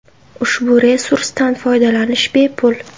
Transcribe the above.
Ushbu resursdan foydalanish bepul.